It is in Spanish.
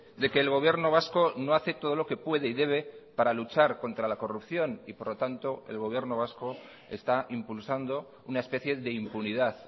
de que el gobierno vasco no hace todo lo que puede y debe para luchar contra la corrupción y por lo tanto el gobierno vasco está impulsando una especie de impunidad